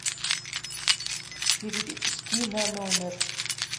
перевести на номер